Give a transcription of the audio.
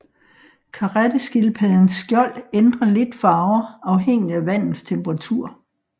Karetteskildpaddens skjold ændrer lidt farver afhængigt af vandets temperatur